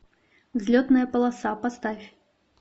взлетная полоса поставь